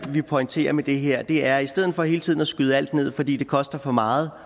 vi pointerer med det her er i stedet for hele tiden at skyde alt ned fordi det koster for meget